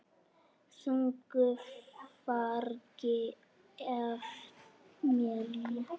Þungu fargi af mér létt.